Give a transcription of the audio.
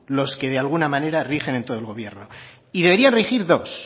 los de que alguna manera rigen en todo el gobierno y debería regir dos